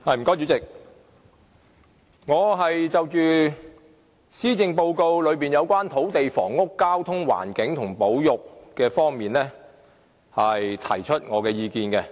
主席，我會就施政報告內有關土地、房屋、交通、環境和保育方面，提出我的意見。